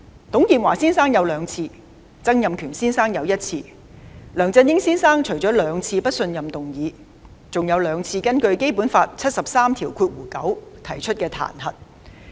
董建華先生有兩次，曾蔭權先生則有一次，而梁振英先生除面對兩次不信任議案外，還有兩次根據《基本法》第七十三九條提出的彈劾。